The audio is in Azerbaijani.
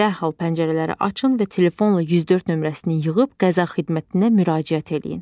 Dərhal pəncərələri açın və telefonla 104 nömrəsini yığıb qəza xidmətinə müraciət eləyin.